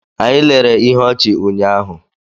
Anyị lere ihe ọchị ụnyahụ.